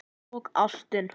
Og ástin.